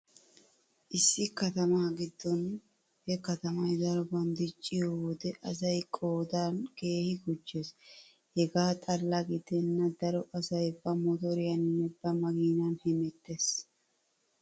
Issi katama giddon he katamay daroban dicciyo wode asay qoodan kehi gujjees. Hegaa xalla gidenna daro asay ba motoriyaaninne ba makiinan hemettees.